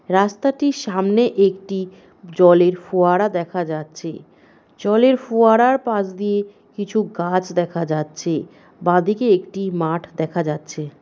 রাস্তাটির সামনে একটি জলের ফোয়ারা দেখা যাচ্ছে জলের ফোয়ারার পাশ দিয়ে কিছু গাছ দেখা যাচ্ছে বাঁদিকে একটি মাঠ দেখা যাচ্ছে ।